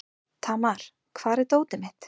Tamar, hvar er dótið mitt?